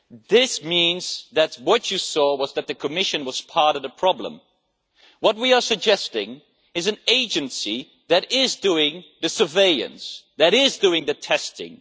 This means that what you saw was that the Commission was part of the problem. What we are suggesting is an agency that is doing the surveillance, that is doing the testing.